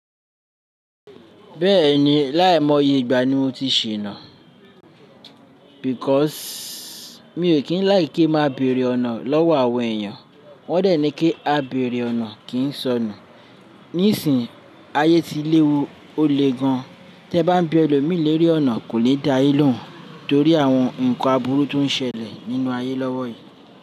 Bẹ́ẹ̀ni, láìmọ̀ye ìgbà ni mo ti ṣìná. Because mi ò kí ń láì kí máa bẹ̀rẹ̀ ọ̀nà lọ́wọ́ àwọn èèyàn. Wọ́n dẹ̀ ní kí a bẹ̀rẹ̀ ọ̀nà kì ń sọnù. Nísìí, ayé ti léwu ó le gan. Tẹ́ bá ń bi elomí lérè ọ̀nà kò lè dáa lóhùn torí àwọn ǹkan aburu tó ń ṣẹlẹ̀ nínú ayé lọ́wọ́ yìí.